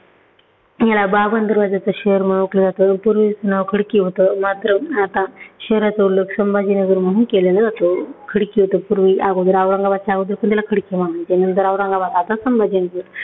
ह्याला बावन दरवाज्यांचं शहर म्हणून ओळखलं जातं. पूर्वी नाव खडकी होतं, मात्र आता शहराचा उल्लेख संभाजीनगर म्हणून केलेला जातो. खडकी होतं पूर्वी अगोदर औरंगाबादच्या अगोदर पण त्याला खडकी म्हणत होते. नंतर औरंगाबाद, आता संभाजीनगर